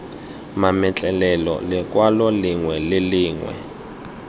mametlelelo lekwalo lengwe le lengwe